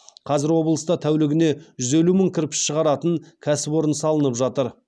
қазір облыста тәулігіне жүз елі мың кірпіш шығаратын кәсіпорын салынып жатыр